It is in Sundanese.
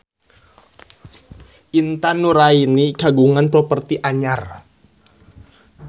Intan Nuraini kagungan properti anyar